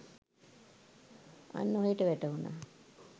අන්න ඔහේට වැටහුණා